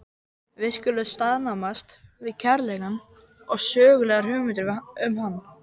Við skulum staðnæmast við kærleikann og sögulegar hugmyndir um hann.